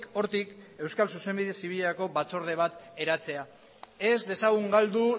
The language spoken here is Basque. hortik euskal zuzenbide zibilerako batzorde bat eratzea ez dezagun galdu